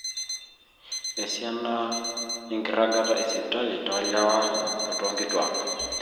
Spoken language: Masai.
esiana enkiragata esipitali toolewa o toonkituaak